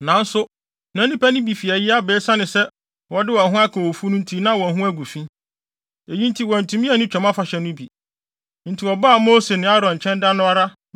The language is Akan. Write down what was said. Nanso na nnipa no bi fi ayi aba a esiane sɛ wɔde wɔn ho aka owufo nti na wɔn ho agu fi. Eyi nti wɔantumi anni Twam Afahyɛ no bi. Enti wɔbaa Mose ne Aaron nkyɛn da no ara